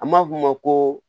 An b'a f'o ma ko